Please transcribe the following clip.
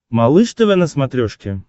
малыш тв на смотрешке